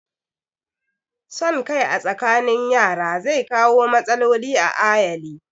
Son kai a tsakanin yara zai kawo matsaloli a ayali